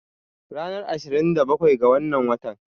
Ranar ashirin da bakwai ga wannan watan